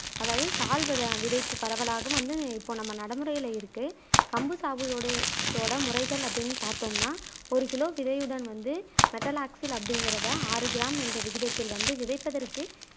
அதாவது சால்வது வித விதைப்பு பரவலாக வந்து இப்போ நம்ம நடைமுறையில இருக்கு கம்பு சாகுபடி ஓட முறைகள் அப்பிடினு பாத்தோம்னா ஒரு கிலோ விதையுடன் வந்து மெட்டல்லாக்சில் அப்பிடிங்கிறத ஆறு கிராம் என்ற விகிதத்தில் வந்து விதைப்பதற்கு